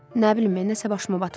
Nə bilim, nəsə başıma batmır.